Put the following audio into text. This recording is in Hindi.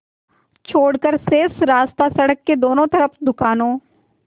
छोड़कर शेष रास्ता सड़क के दोनों तरफ़ दुकानों